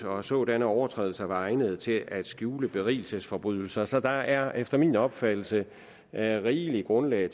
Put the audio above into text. og at sådanne overtrædelser var egnede til at skjule berigelsesforbrydelser så der er efter min opfattelse rigeligt grundlag